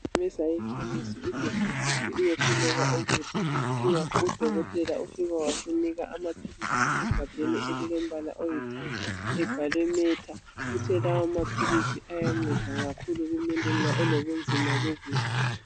Sisuke saya ekhemesi ugogo esithi uyehluleka ukudla kungakho udokotela ufike wasinika amaphilisi asegabheni elilompala oyithanga ebhalwe metha, uthe lawa maphilizi ayanceda kakhulu umuntu ma elobuzima bokudla.